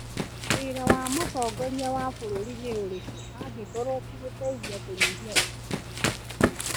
Wĩra wa mũtongoria wa bũrũri nĩ ũrĩkũ angĩkorwo ti gũteithia kũnyihia ungumania?